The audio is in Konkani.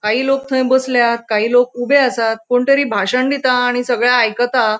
काही लोक थैय बसल्यात काही लोक थैय ऊबे आसात कोण तरी भाशण दिता आणि सगळे आयकता .